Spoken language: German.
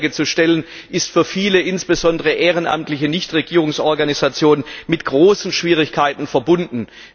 Die Anträge zu stellen, ist für viele insbesondere ehrenamtliche Nichtregierungsorganisationen mit großen Schwierigkeiten verbunden.